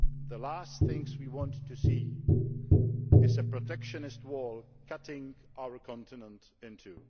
The last thing we want to see is a protectionist wall cutting our continent in two.